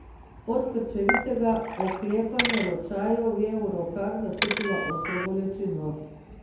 Od krčevitega oklepanja ročajev je v rokah začutila ostro bolečino.